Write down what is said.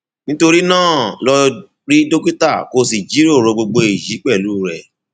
nítorí náà lọ rí dókítà kó o sì jíròrò gbogbo èyí pẹlú rẹ